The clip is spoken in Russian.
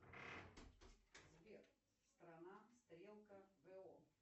сбер страна стрелка го